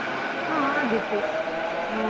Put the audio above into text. ಹಾ ಆಗತ್ತೆ ಹಾ.